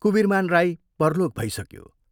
कुवीरमान राई परलोक भइसक्यो।